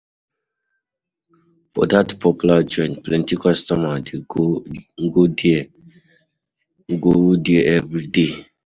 For dat popular joint, plenty customers dey go go there go there everyday.